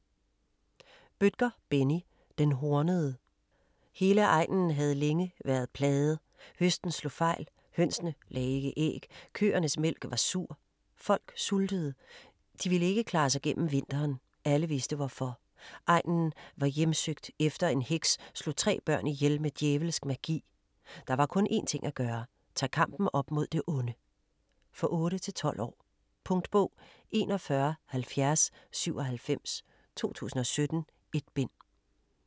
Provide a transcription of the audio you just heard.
Bødker, Benni: Den hornede Hele egnen havde længe været plaget. Høsten slog fejl. Hønsene lagde ikke æg. Køernes mælk var sur. Folk sultede. De ville ikke klare sig gennem vinteren. Alle vidste hvorfor. Egnen var hjemsøgt, efter en heks slog tre børn ihjel med djævelsk magi. Der var kun en ting at gøre. Tage kampen op mod det onde. For 8-12 år. Punktbog 417097 2017. 1 bind.